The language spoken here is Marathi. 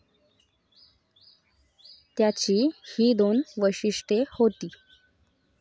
त्याची ही दोन वैशिष्टय़े होती.